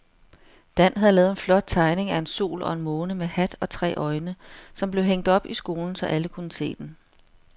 Dan havde lavet en flot tegning af en sol og en måne med hat og tre øjne, som blev hængt op i skolen, så alle kunne se den.